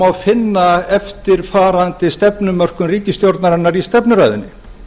má finna eftirfarandi stefnumörkun ríkisstjórnarinnar í stefnuræðunni